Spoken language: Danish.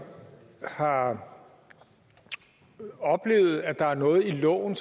har oplevet at der er noget i loven